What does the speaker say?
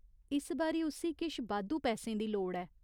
इस बारी उस्सी किश बाद्धू पैसें दी लोड़ ऐ।